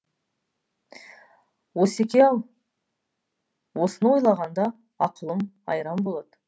осеке ау осыны ойлағанда ақылым айран болады